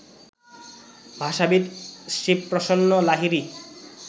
ভাষাবিদ Shibprasanna Lahiri